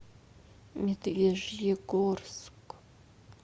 медвежьегорск